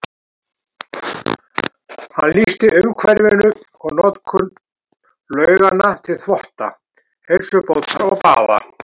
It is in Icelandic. Hann lýsir umhverfinu og notkun lauganna til þvotta, heilsubótar og baða.